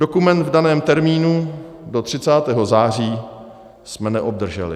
Dokument v daném termínu do 30. září jsme neobdrželi.